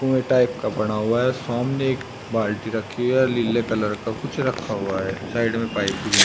कुएं टाइप का बना हुआ है सामने एक बाल्टी रखी है लीले कलर का कुछ रखा हुआ है साइड में पाइप भी है।